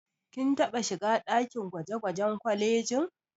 Kin taɓa shiga ɗakin gwaje-gwajen kwalejin.